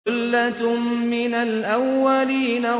ثُلَّةٌ مِّنَ الْأَوَّلِينَ